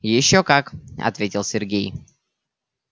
ещё как ответил сергей